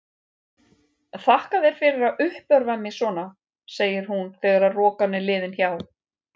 Þakka þér fyrir að uppörva mig svona, segir hún þegar rokan er liðin hjá.